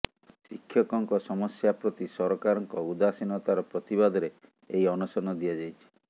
ଶିକ୍ଷକଙ୍କ ସମସ୍ୟା ପ୍ରତି ସରକାରଙ୍କ ଉଦାସୀନତାର ପ୍ରତିବାଦରେ ଏହି ଅନଶନ ଦିଆଯାଇଛି